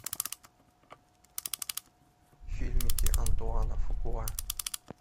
фильмики антуана фукуа